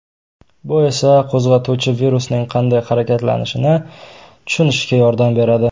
Bu esa qo‘zg‘atuvchi virusning qanday harakatlanishini tushunishga yordam beradi.